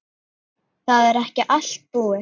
Það er ekki allt búið.